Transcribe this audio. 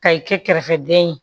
Ka i kɛ kɛrɛfɛden ye